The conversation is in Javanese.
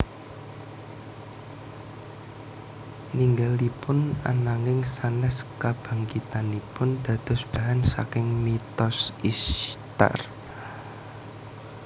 Ninggalipun ananging sanes kabangkitanipun dados bahan saking mitos Isytar